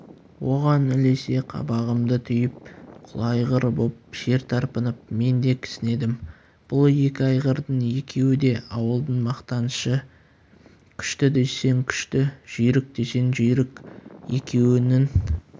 оған ілесе қабағымды түйіп құла айғыр боп жер тарпынып мен де кісінедім бұл екі айғырдың екеуі де ауылдың мақтанышы күшті десең күшті жүйрік десең жүйрік екеуінің